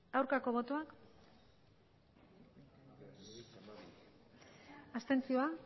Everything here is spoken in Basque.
aurkako botoak abstentzioa